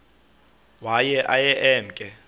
waye aye emke